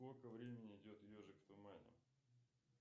сколько времени идет ежик в тумане